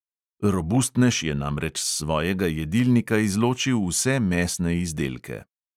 Robustnež je namreč s svojega jedilnika izločil vse mesne izdelke.